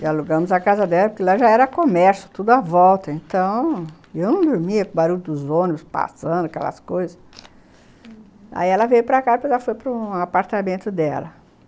E alugamos a casa dela, porque lá já era comércio, tudo à volta, então... E eu não dormia, com barulho dos ônibus passando, aquelas coisas...Uhum, aí ela veio para cá, porque ela foi para um apartamento dela.